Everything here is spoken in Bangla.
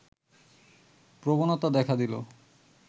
প্রবণতা দেখা দিল